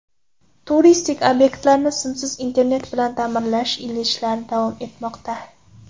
Turistik obyektlarni simsiz internet bilan ta’minlash ishlari davom etmoqda.